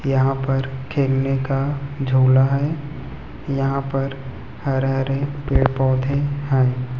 यहां पर खेलना का झूला है यहां पर हरे हरे पेड़ पौधे हैं।